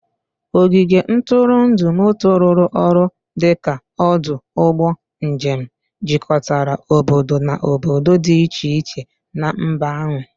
Ogige ntụrụndụ moto rụrụ ọrụ dị ka ọdụ ụgbọ njem, jikọtara obodo na obodo dị iche iche na mba ahụ.